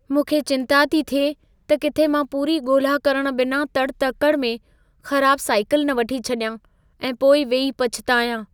मूंखे चिंता थी थिए त किथे मां पूरी ॻोल्हा करणु बिना तड़ि- तकड़ि में ख़राब साईकल न वठी छॾियां ऐं पोइ वेही पछितायां।